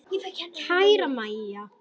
Kæra Mæja.